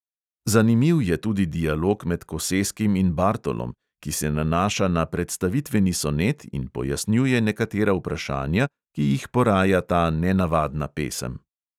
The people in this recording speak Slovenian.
Zanimiv je tudi dialog med koseskim in bartolom, ki se nanaša na predstavitveni sonet in pojasnjuje nekatera vprašanja, ki jih poraja ta nenavadna pesem.